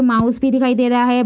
Mouse भी दिखाई दे रहा है।